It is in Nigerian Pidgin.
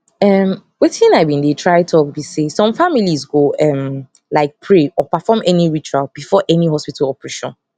um wetin i been dey try talk be say some familes go um like pray or perform any ritual before any hospital operation